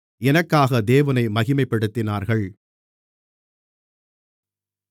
எனக்காக தேவனை மகிமைப்படுத்தினார்கள்